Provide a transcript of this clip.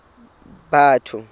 batho